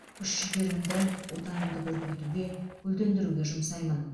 күш жігерімді отанымды көркейтуге гүлдендіруге жұмсаймын